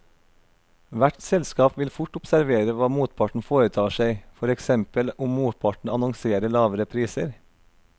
Hvert selskap vil fort observere hva motparten foretar seg, for eksempel om motparten annonserer lavere priser.